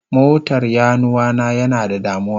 Motar Yaruwa na yana da damuwa.